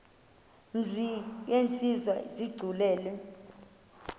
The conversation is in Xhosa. mzi yenziwe isigculelo